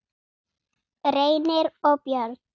Reynir og börn.